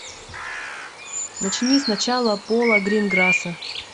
начни сначала пола гринграсса